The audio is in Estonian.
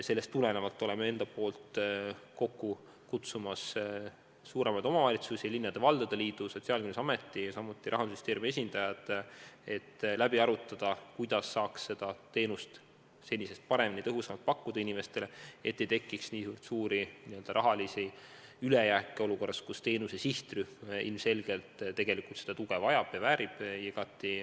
Sellest tulenevalt tahame kokku kutsuda suuremate omavalitsuste, Eesti Linnade ja Valdade Liidu, Sotsiaalkindlustusameti ja Rahandusministeeriumi esindajad, et läbi arutada, kuidas saaks seda teenust inimestele senisest paremini, tõhusamalt pakkuda, et ei tekiks nii suurt raha ülejääki olukorras, kus teenuse sihtrühm ilmselgelt tuge vajab.